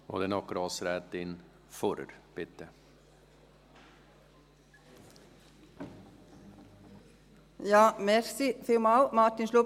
Danke, Martin Schlup, Sie haben von «solchen Leuten» gesprochen.